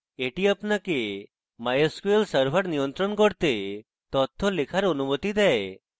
এটি আপনাকে mysql server নিয়ন্ত্রণ করতে তথ্য লেখার অনুমতি দেয়